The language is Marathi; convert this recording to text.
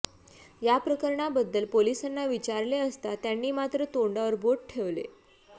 या प्रकरणाबद्दल पोलिसांना विचारले असता त्यांनी मात्र तोंडावर बोट ठेवले